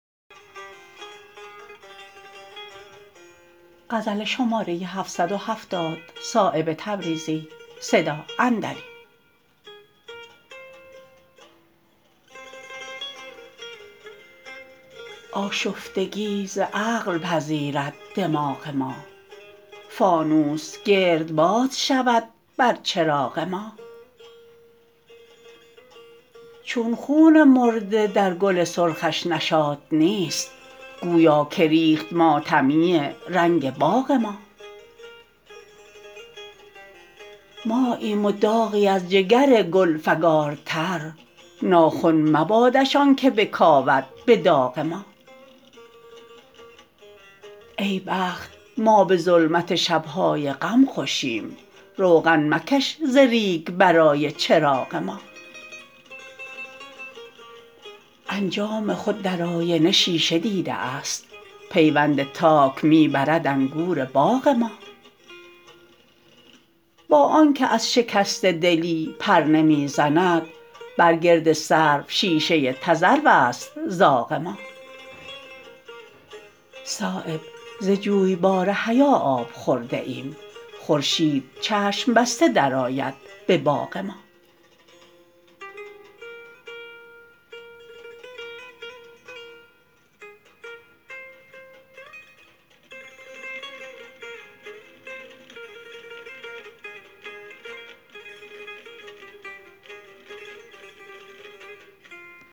آشفتگی ز عقل پذیرد دماغ ما فانوس گردباد شود بر چراغ ما چون خون مرده در گل سرخش نشاط نیست گویا که ریخت ماتمیی رنگ باغ ما ماییم و داغی از جگر گل فگارتر ناخن مبادش آن که بکاود به داغ ما ای بخت ما به ظلمت شبهای غم خوشیم روغن مکش ز ریگ برای چراغ ما انجام خود در آینه شیشه دیده است پیوند تاک می برد انگور باغ ما با آن که از شکسته دلی پر نمی زند بر گرد سرو شیشه تذروست زاغ ما صایب ز جویبار حیا آب خورده ایم خورشید چشم بسته درآید به باغ ما